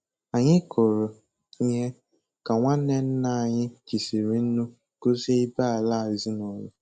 Anyị kụrụ ihe ka nwanne nna anyị jisiri nnu gọzie ibé-ala ezinụlọ.